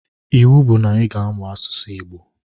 Iwu bu na iga amụ asụsụ igbo!!